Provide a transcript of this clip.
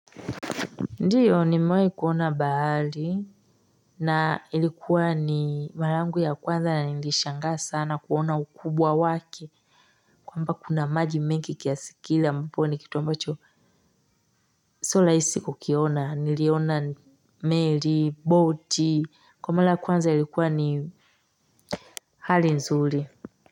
Ndiyo ni mawahi kuona bahari na ilikuwa ni mara yangu ya kwanza na nilishangaa sana kuona ukubwa wake kwamba kuna maji mengi kiasikila mponi kitu ambacho sio rahisi kukiona niliona meli boti kwa mwala kwanza ilikuwa ni hali nzuri.